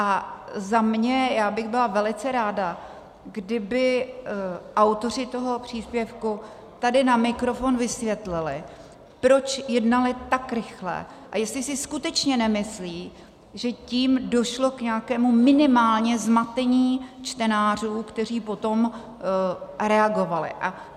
A za mě, já bych byla velice ráda, kdyby autoři toho příspěvku tady na mikrofon vysvětlili, proč jednali tak rychle a jestli si skutečně nemyslí, že tím došlo k nějakému minimálně zmatení čtenářů, kteří potom reagovali.